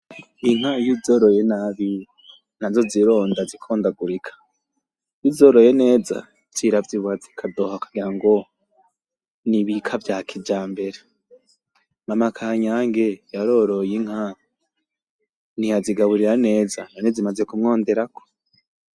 Inka iyo uzoroye nabi, nazo zironda zikondagurika. Iyo uzoroye neza, ziravyibuha zikadoha, kugira ngo n'ibika vy'akijambera. Mama kanyange yaroroye inka, ntiyazigaburira neza, nazo zimaze kumwondorako.